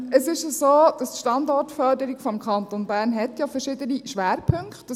Es ist ja so, dass die Standortförderung des Kantons Bern verschiedene Schwerpunkte hat.